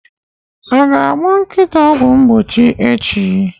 Aga agba nkịta ọgwụ vaccine echi?